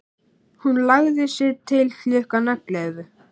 Hún lagði sig til klukkan ellefu.